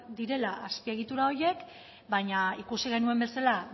direla azpiegitura horiek baina ikusi genuen bezala